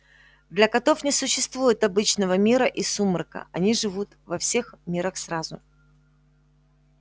для котов не существует обычного мира и сумрака они живут во всех мирах сразу